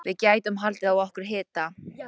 Við gætum haldið á okkur hita.